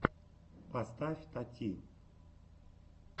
поставь тати